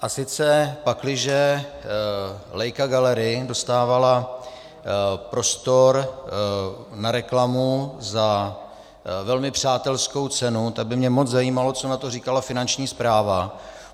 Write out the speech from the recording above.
A sice pakliže Leica Gallery dostávala prostor na reklamu za velmi přátelskou cenu, tak by mě moc zajímalo, co na to říkala Finanční správa.